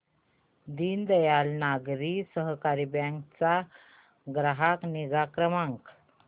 दीनदयाल नागरी सहकारी बँक चा ग्राहक निगा क्रमांक